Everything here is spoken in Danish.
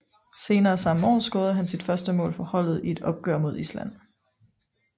Senere samme år scorede han sit første mål for holdet i et opgør mod Island